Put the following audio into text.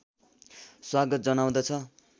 स्वागत जनाउँदछु